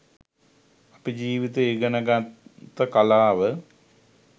අපි ජිවිතය ඉගෙන ගත්ත කලාව